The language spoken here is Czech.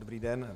Dobrý den.